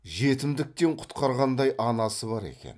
жетімдіктен құтқарғандай анасы бар екен